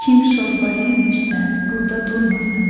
Kim şorba yemirsə, burda durmasın.